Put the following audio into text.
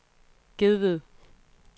Gedved